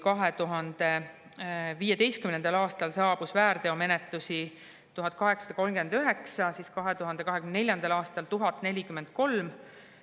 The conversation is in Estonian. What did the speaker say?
2015. aastal oli väärteomenetlusi 1839, aga 2024. aastal 1043.